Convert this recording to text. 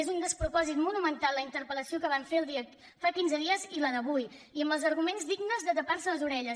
és un despropòsit monumental la interpel·lació que van fer fa quinze dies i la d’avui i amb els arguments dignes de tapar·se les orelles